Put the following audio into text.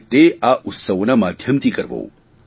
અને તે આ ઉતસ્વોના માધ્યમથી કરવું